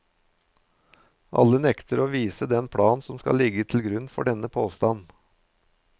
Alle nekter å vise den plan som skal ligge til grunn for denne påstand.